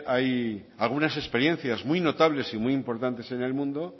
hay algunas experiencias muy notables y muy importantes en el mundo